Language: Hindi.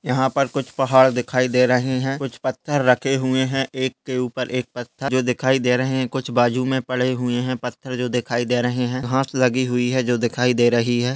यहाँ पर कुछ पहाड़ दिखाई दे रहे हैं कुछ पत्थर रखे हुए हैं एक के ऊपर एक पत्थर जो दिखाई दे रहे हैं कुछ बाजु में पड़े हुए हैं पत्थर जो दिखाय दे रहे हैं घास जो लगी है जो दिखाई दे रही है।